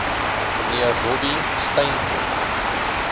mnr robbie stainton